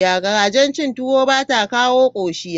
Garajen chin tuwo bata kawo koshiya.